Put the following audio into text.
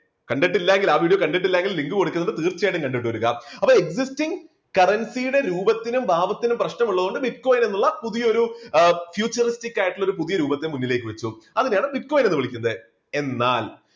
കണ്ടിട്ടില്ലാ എങ്കിൽ ആ video കണ്ടിട്ടില്ല എങ്കിൽ link കൊടുക്കുന്നത് തീർച്ചയായും കണ്ടിട്ടു വരിക existing currency യുടെ രൂപത്തിനും ഭാവത്തിനും പ്രശ്നമുള്ളത് കൊണ്ട് bitcoin എന്നുള്ള പുതിയൊരു എഹ് futuristic ആയിട്ടുള്ള ഒരു പുതിയ രൂപത്തെ മുന്നിലേക്ക് വെച്ചു അതിനെ ആണ് bitcoin എന്നു വിളിക്കുന്നത്. എന്നാൽ,